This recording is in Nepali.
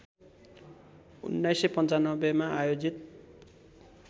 १९९५ मा आयोजित